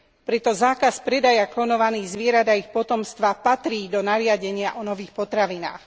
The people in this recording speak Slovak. Preto zákaz predaja klonovaných zvierat a ich potomstva patrí do nariadenia o nových potravinách.